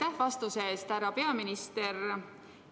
Aitäh vastuse eest, härra peaminister!